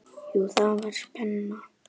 Jú, það var spenna.